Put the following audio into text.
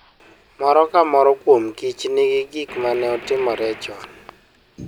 Moro ka moro kuom kich nigi gik ma ne otimore chon.